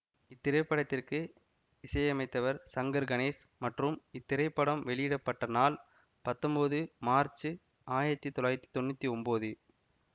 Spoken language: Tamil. இத்திரைப்படத்திற்கு இசையமைத்தவர் சங்கர் கணேஷ் மற்றும் இத்திரைப்படம் வெளியிட பட்ட நாள் பத்தொம்போது மார்ச்சு ஆயிரத்தி தொள்ளாயிரத்தி தொன்னூத்தி ஒன்போது